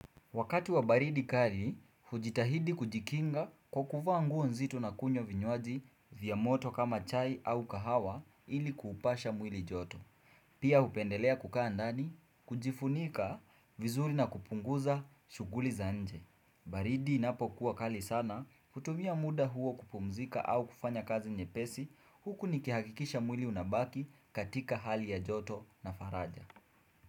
Wakati wa baridi kali, hujitahidi kujikinga kwa kuvaa nguo nzitu na kunywa vinywaji vya moto kama chai au kahawa ili kuupasha mwili joto. Pia upendelea kukaa ndani, kujifunika vizuri na kupunguza shughuli za nje. Baridi inapo kuwa kali sana, hutumia muda huo kupumzika au kufanya kazi nyepesi huku nikihakikisha mwili unabaki katika hali ya joto na faraja.